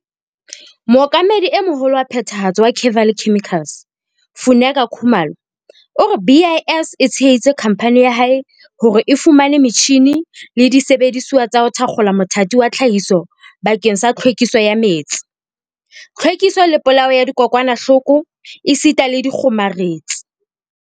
Mookamedi e Moholo wa Phethahatso wa Kevali Chemicals, Funeka Khumalo, o re BIS e tsheheditse khamphane ya hae hore e fumane metjhine le disebedisuwa tsa ho thakgola mothati wa tlhahiso bakeng sa tlhwekiso ya metsi, tlhwekiso le polao ya dikokwanahloko esita le dikgomaretsi.